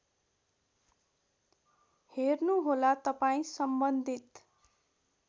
हेर्नुहोला तपाईँ सम्बन्धित